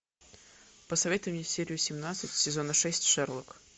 посоветуй мне серию семнадцать сезона шесть шерлок